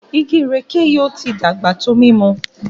Ìgi ìrèké yí o tí dàgbà tó mímú